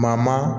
Maa maa